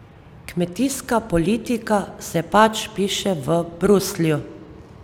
Kmetijska politika se pač piše v Bruslju.